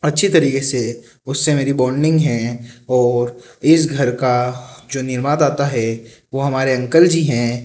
अच्छी तरीके से उससे मेरी बॉन्डिंग है और इस घर का जो निर्वादाता है वो हमारे अंकल जी हैं।